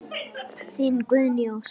Þín Guðný Ósk.